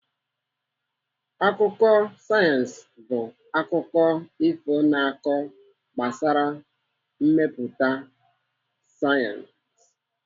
Akụkọ sayensị bụ akụkọ ifo na-akọ gbasara mmepụta sayensị.